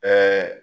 Ɛɛ